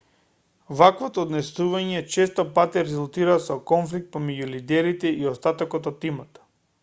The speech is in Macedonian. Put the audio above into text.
вакво однесување често пати резултира со конфликт помеѓу лидерите и остатокот од тимот